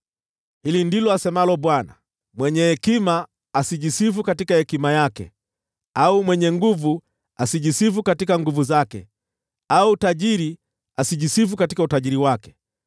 Hili ndilo asemalo Bwana : “Mwenye hekima asijisifu katika hekima yake, au mwenye nguvu ajisifu katika nguvu zake, wala tajiri ajisifu katika utajiri wake,